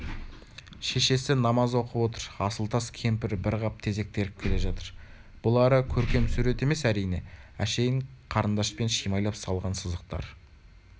шешесі намаз оқып отыр асылтас кемпір бір қап тезек теріп келе жатыр бұлары көркем сурет емес әрине әшейін қарындашпен шимайлай салған сызықтар